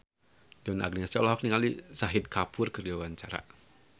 Donna Agnesia olohok ningali Shahid Kapoor keur diwawancara